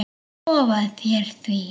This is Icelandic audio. Ég lofa þér því.